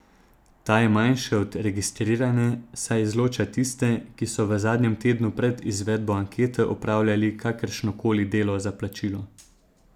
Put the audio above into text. Ta je manjša od registrirane, saj izloča tiste, ki so v zadnjem tednu pred izvedbo ankete opravljali kakršno koli delo za plačilo.